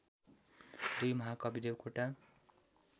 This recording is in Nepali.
२ महाकवि देवकोटा